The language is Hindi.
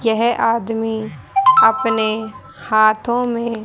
यह आदमी अपने हाथों में--